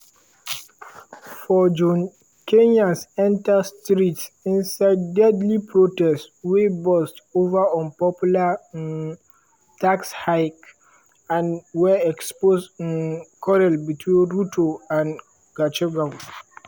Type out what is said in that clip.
for june kenyans enter streets inside deadly protests wey burst over unpopular um tax hikes and wey expose um quarrel between ruto and gachagua.